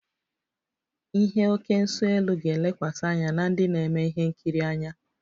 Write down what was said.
The oké nso-elu ga-elekwasị anya na ndị na-eme ihe nkiri anya